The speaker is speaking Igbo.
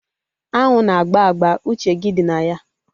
Anwụ na agba agba. Uche gị dị na ya